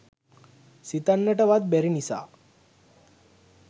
සිතන්නට වත් බැරි නිසා